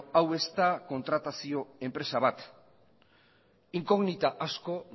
hau ez da kontratazio enpresa bat inkognita asko